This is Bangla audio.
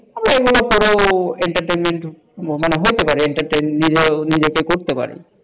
এগুলো পড়েও entertainment মানে হতে পারে entertainment নিজেকে করতে পারে,